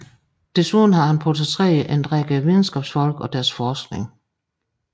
Desuden har han portrætteret en række videnskabsfolk og deres forskning